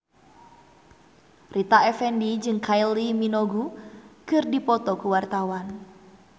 Rita Effendy jeung Kylie Minogue keur dipoto ku wartawan